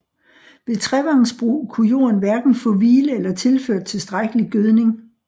Ved trevangsbrug kunne jorden hverken få hvile eller tilført tilstrækkelig gødning